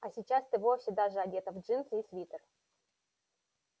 а сейчас ты вовсе даже одета в джинсы и свитер